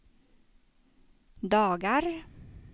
dagar